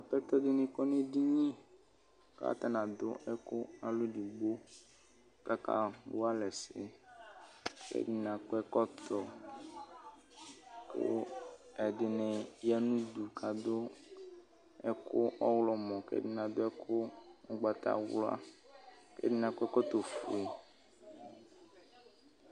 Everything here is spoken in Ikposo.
Tatɔ dɩnɩ kɔ nedini, katanɩ adʋ ɛkʋ alɔ edigbo, kaka walɛ ɛsɛ; kɛdɩnɩ akɔ ɛkɔtɔ, kʋ ɛdɩnɩ ya nudu kadʋ ɛkʋ ɔɣlɔmɔ,k 'ɛdɩnɩ adʋ ɛkʋ ʋgbawla k' ɛdɩnɩ akɔ ɛkɔtɔ fue